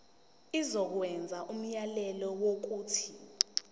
izokwenza umyalelo wokuthi